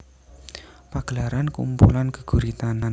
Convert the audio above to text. Pagelaran kumpulan geguritan